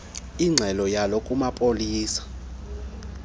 ingxelo yawo kumapolisa